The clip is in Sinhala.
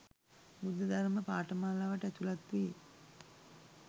බුද්ධ ධර්ම පාඨමාලාවට ඇතුළත් වී